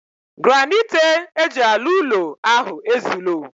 Granniite eji alu ulo ahu ezulo.